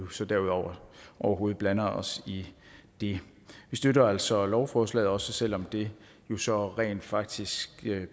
så derudover overhovedet blander os i det vi støtter altså lovforslaget også selv om det jo så rent faktisk